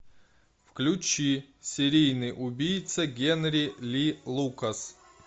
включи серийный убийца генри ли лукас